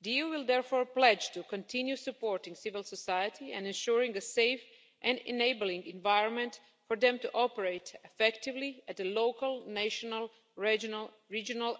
The EU will therefore pledge to continue supporting civil society and ensuring a safe and enabling environment for them to operate effectively at local, national, regional